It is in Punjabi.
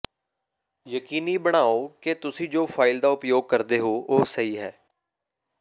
ਯਕੀਨੀ ਬਣਾਉ ਕਿ ਤੁਸੀਂ ਜੋ ਫ਼ਾਈਲ ਦਾ ਉਪਯੋਗ ਕਰਦੇ ਹੋ ਉਹ ਸਹੀ ਹੈ